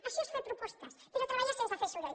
això és fer propostes però treballar sense fer soroll